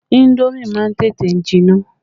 Indomi má ń tètè jinná